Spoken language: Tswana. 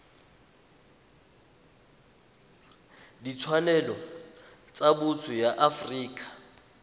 ditshwanelo tsa botho ya afrika